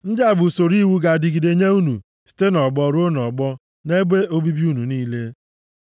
“ ‘Ndị a bụ usoro iwu ga-adịgide nye unu site nʼọgbọ ruo nʼọgbọ, nʼebe obibi unu niile.